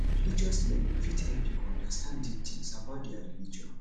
religious learning fit help pipo understand deep things about their religion